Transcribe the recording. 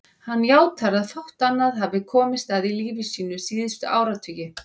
Hann játar að fátt annað hafi komist að í lífi sínu síðustu áratugi.